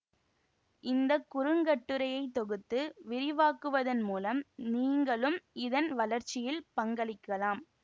இந்த குறுங்கட்டுரையை தொகுத்து விரிவாக்குவதன் மூலம் நீங்களும் இதன் வளர்ச்சியில் பங்களிக்கலாம்